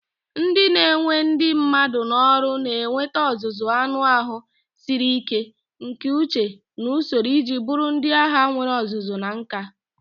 Ndị na-ewe ndị mmadụ n'ọrụ na-enweta ọzụzụ anụ ahụ siri ike, nke uche, na usoro iji bụrụ ndị agha nwere ọzụzụ na nka.